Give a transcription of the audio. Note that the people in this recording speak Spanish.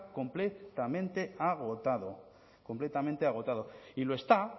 completamente agotado completamente agotado y lo está